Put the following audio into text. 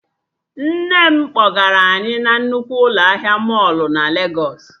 Nne m kpọgara anyị na nnukwu ụlọ ahịa mọlụ na Legos